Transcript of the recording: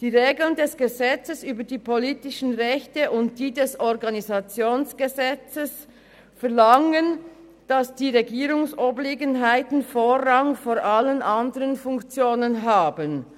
Die Regeln des PRG und diejenigen des Organisationsgesetzes (ORG) verlangen, dass die Regierungsobliegenheiten Vorrang vor allen anderen Funktionen haben.